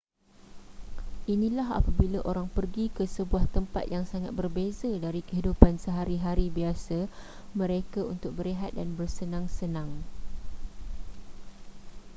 inilah apabila orang pergi ke sebuah tempat yang sangat berbeza dari kehidupan sehari-hari biasa mereka untuk berehat dan bersenang-senang